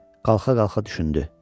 Qalxa-qalxa düşündü: